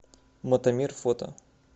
мотомир фото